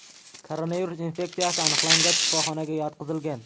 Koronavirus infeksiyasi aniqlangach, shifoxonaga yotqizilgan.